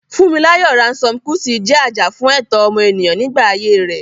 Funmilayo Ransome Kuti jẹ́ ajàfún ẹ̀tọ́ ọmọnìyàn nígbà ayé rẹ̀.